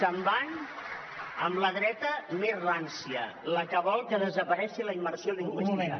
se’n van amb al dreta més rància la que vol que desaparegui la immersió lingüística